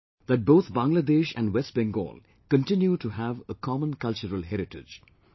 We know that both Bangladesh and West Bengal continue to have a common cultural heritage